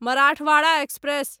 Marathwada express